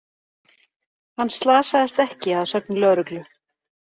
Hann slasaðist ekki að sögn lögreglu